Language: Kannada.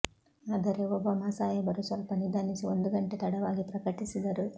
ಆದರೆ ಒಬಾಮಾ ಸಾಹೇಬರು ಸ್ವಲ್ಪ ನಿಧಾನಿಸಿ ಒಂದು ಗಂಟೆ ತಡವಾಗಿ ಪ್ರಕಟಿಸಿದರು